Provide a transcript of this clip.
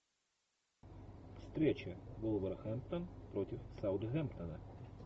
встреча вулверхэмптон против саутгемптона